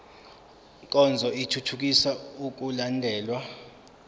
nkonzo ithuthukisa ukulandelwa